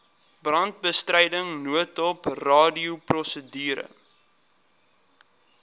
brandbestryding noodhulp radioprosedure